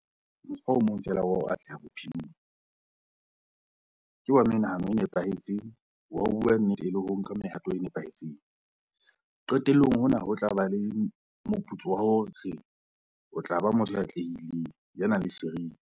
Mokgwa o mong feela wa ho atleha bophelong, ke wa menahano e nepahetseng, wa ho bua nnete le ho nka mehato e nepahetseng - qetellong hona ho tla ba le moputso wa hore o tla ba motho ya atlehileng, ya nang le seriti.